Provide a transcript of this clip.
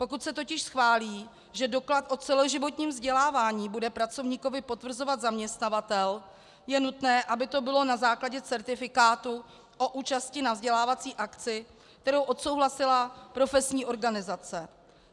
Pokud se totiž schválí, že doklad o celoživotním vzdělávání bude pracovníkovi potvrzovat zaměstnavatel, je nutné, aby to bylo na základě certifikátu o účasti na vzdělávací akci, kterou odsouhlasila profesní organizace.